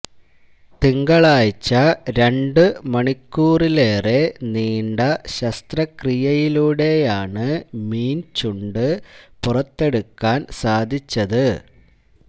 തിങ്കളാഴ്ച രണ്ട് മണിക്കൂറിലേറെ നീണ്ട ശസ്ത്രക്രിയയിലൂടെയാണ് മീന് ചുണ്ട് പുറത്തെടുക്കാന് സാധിച്ചത്